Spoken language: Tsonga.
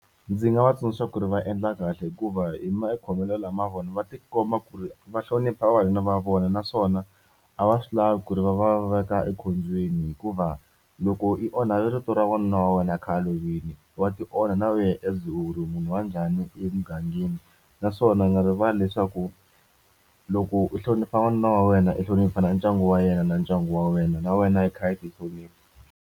Ndzi nga va tsundzuxa ku ri va endla kahle hikuva hi makhomelo lama vona va tikuma ku ri va hlonipha vavanuna va vona naswona a va swi lavi ku ri va va veka ekhombyeni hikuva loko i onha vito ra n'wanuna wa wena a khale a lovile wa ti onha na wena as u ri munhu wa njhani emugangeni naswona u nga rivali leswaku loko u hlonipha n'wanuna wa wena enhlokweni ku fana na ndyangu wa yena na ndyangu wa wena na wena i kha i tihlonipa.